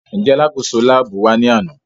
Njẹ alakoso laabu wa ni ana?